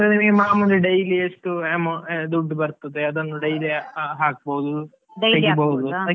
ಮಾಮೂಲಿ daily ಎಷ್ಟು amount ದುಡ್ಡು ಬರ್ತದೆ ಅದನ್ನ daily ಹಾಕ್ಬಹುದು .